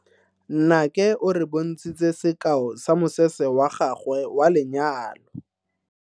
Nnake o re bontshitse sekao sa mosese wa gagwe wa lenyalo.